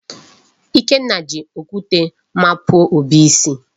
Ikenna ji okwute mapuo Obi isi.